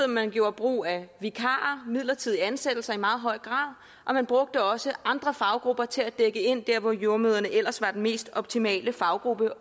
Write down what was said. at man gjorde brug af vikarer midlertidige ansættelser i meget høj grad og man brugte også andre faggrupper til at dække ind der hvor jordemødrene ellers var den mest optimale faggruppe